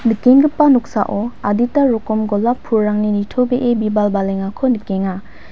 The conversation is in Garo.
nikenggipa noksao adita rokom golap pulrangni nitobee bibal balengako nikenga.